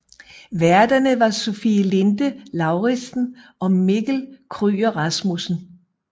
Værterne var Sofie Linde Lauridsen og Mikkel Kryger Rasmussen